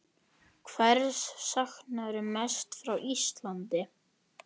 Hvers saknarðu mest frá Íslandi?